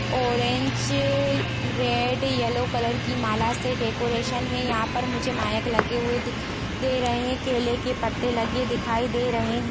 Orange red yellow colour की माला से डेकरैशन हे यहाँ पर मुझे माइक लगे हुए दिखाई दे रहे है केले के पत्ते लगे दिखाई दे रहे है।